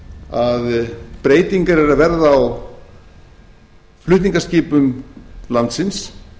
að breytingar eru að verða á flutningaskipum landsins